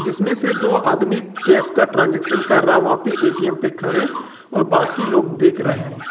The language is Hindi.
जिसमें से दो आदमी कैश का ट्रांजैक्शन कर रहा है वहां पर ए_टी_एम पर खड़े और बाकी लोग देख रहे हैं।